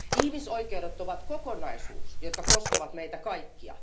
Ihmisoikeudet ovat kokonaisuus, joka koskee meitä kaikkia.